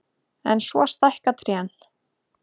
En svo stækka trén.